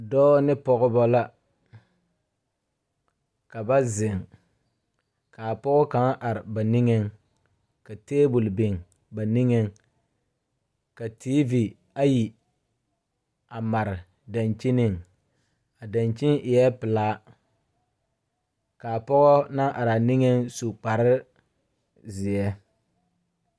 Dɔɔ ne pɔgebɔ la ka ba zeŋ kaa pɔge kaŋ are ba niŋeŋ ka tabole biŋ ba niŋeŋ ka teevi ayi a mare dankyiniŋ a dankyini eɛɛ pelaa kaa pɔɔ naŋ araa niŋeŋ su kparezeɛ.